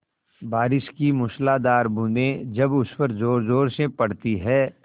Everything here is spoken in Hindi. बारिश की मूसलाधार बूँदें जब उस पर ज़ोरज़ोर से पड़ती हैं